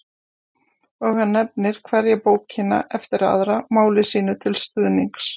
Og hann nefnir hverja bókina eftir aðra máli sínu til stuðnings.